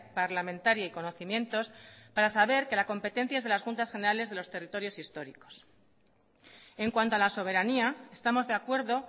parlamentaria y conocimientos para saber que la competencia es de las juntas generales de los territorios históricos en cuanto a la soberanía estamos de acuerdo